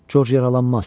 Corc yaralanmaz.